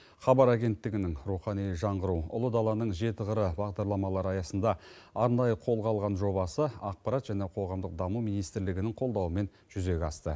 хабар агенттігінің рухани жаңғыру ұлы даланың жеті қыры бағдарламалары аясында арнайы қолға алған жобасы ақпарат және қоғамдық даму министрлігінің қолдауымен жүзеге асты